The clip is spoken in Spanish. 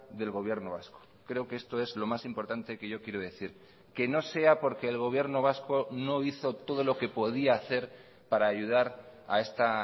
del gobierno vasco creo que esto es lo más importante que yo quiero decir que no sea porque el gobierno vasco no hizo todo lo que podía hacer para ayudar a esta